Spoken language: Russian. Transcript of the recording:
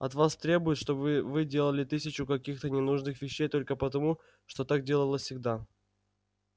от вас требуют чтобы вы делали тысячу каких-то ненужных вещей только потому что так делалось всегда